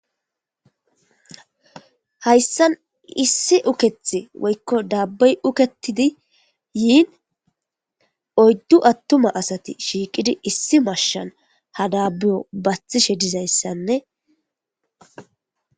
hayssan issi ukethi woykko daabbey uketidi yiin oyddu attuma asati shiiqidi issi mashshan ha daabiyo bathishe dizayssanne